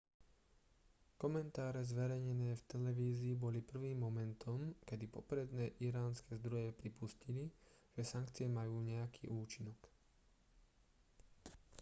komentáre zverejnené v televízii boli prvým momentom kedy popredné iránske zdroje pripustili že sankcie majú nejaký účinok